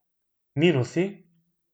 Minusi?